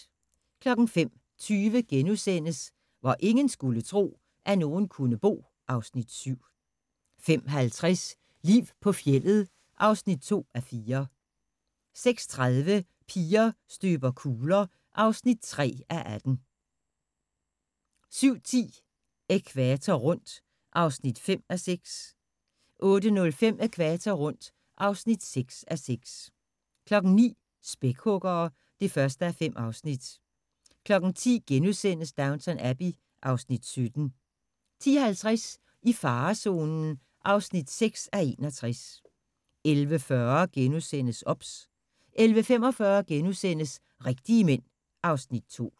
05:20: Hvor ingen skulle tro, at nogen kunne bo (Afs. 7)* 05:50: Liv på fjeldet (2:4) 06:30: Piger støber kugler (3:18) 07:10: Ækvator rundt (5:6) 08:05: Ækvator rundt (6:6) 09:00: Spækhuggere (1:5) 10:00: Downton Abbey (Afs. 17)* 10:50: I farezonen (4:61) 11:40: OBS * 11:45: Rigtige Mænd (Afs. 2)*